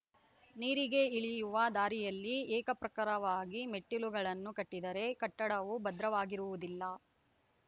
ನೀರಿಗೆ ಇಳಿಯುವ ದಾರಿಯಲ್ಲಿ ಏಕಪ್ರಕಾರವಾಗಿ ಮೆಟ್ಟಿಲುಗಳನ್ನು ಕಟ್ಟಿದರೆ ಕಟ್ಟಡವು ಭದ್ರವಾಗಿರುವುದಿಲ್ಲ